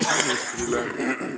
Küsimused ministrile.